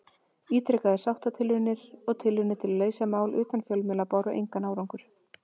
Ítrekaðar sáttatilraunir og tilraunir til að leysa málin utan fjölmiðla báru engan árangur.